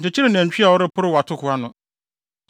Nkyekyere nantwi a ɔreporow atoko ano.